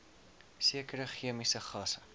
sekere chemiese gasse